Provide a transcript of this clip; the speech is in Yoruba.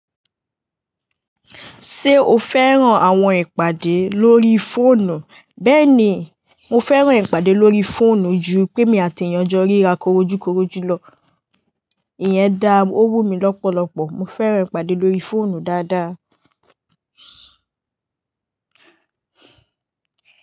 Ṣé o fẹ́ràn àwọn ìpàdé lórí fóònù? Bẹ́ẹ̀ni, mo fẹ́ràn ìpàdé lórí fóònù ju pé mi àti èèyàn jọ ríra korojúkorojú lọ. Ìyẹn dá owú mi lọ́pọ̀lọ́pọ̀. Mo fẹ́ràn ìpàdé lórí fóònù dáadáa.